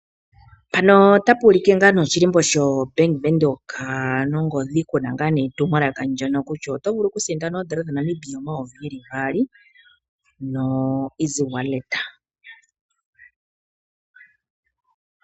Mpano otapu ulike oshilimbo sho Bank Windhoek nongodhi kuna etumwalaka kutya ngaa nee, oto vulu okusindana oondola dha Namibia dhili omayovi gaali no EasyWallet.